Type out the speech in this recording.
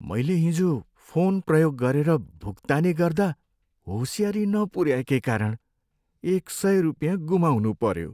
मैले हिजो फोन प्रयोग गरेर भुक्तानी गर्दा होसियारी नपुऱ्याएकै कारण एक सय रुपियाँ गुमाउनुपऱ्यो।